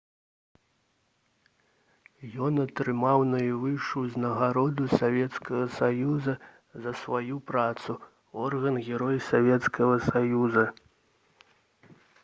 ён атрымаў найвышэйшую ўзнагароду савецкага саюза за сваю працу — ордэн «герой савецкага саюза»